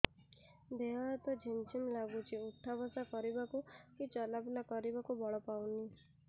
ଦେହେ ହାତ ଝିମ୍ ଝିମ୍ ଲାଗୁଚି ଉଠା ବସା କରିବାକୁ କି ଚଲା ବୁଲା କରିବାକୁ ବଳ ପାଉନି